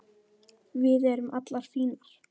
Við erum allar fínar